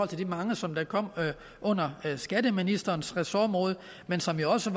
til de mange som kommer under skatteministerens ressort men som jo også